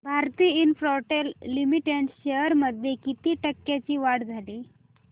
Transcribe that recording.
Bharti Infratel limited shares मध्ये किती टक्क्यांची वाढ झाली